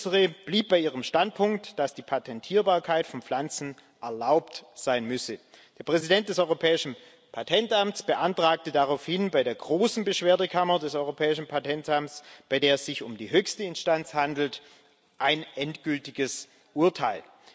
Letztere blieb bei ihrem Standpunkt, dass die Patentierbarkeit von Pflanzen erlaubt sein müsse. Der Präsident des Europäischen Patentamts beantragte daraufhin bei der großen Beschwerdekammer des Europäischen Patentamts bei der es sich um die höchste Instanz handelt ein endgültiges Urteil.